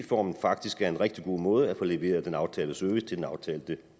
formen faktisk er en rigtig god måde at få leveret den aftalte service til den aftalte